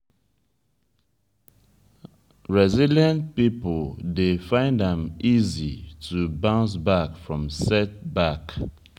resilient pipo dey find am easy to bounce back from setback